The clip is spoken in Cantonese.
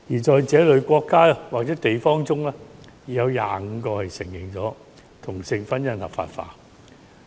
在這類國家或地方之中，已有25個國家承認同性婚姻合化法。